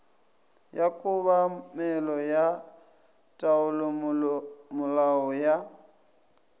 ya kobamelo ya taolomolao ya